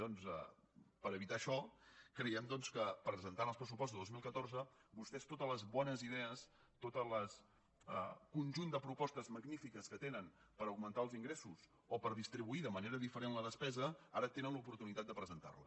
doncs per evitar això creiem que presentant els pressupostos de dos mil catorze vostès totes les bones idees tot el conjunt de propostes magnífiques que tenen per augmentar els ingressos o per distribuir de manera diferent la despesa ara tenen l’oportunitat de presentar les